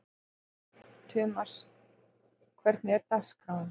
Tumas, hvernig er dagskráin?